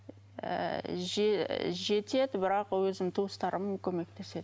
ы жетеді бірақ өзім туыстарым көмектеседі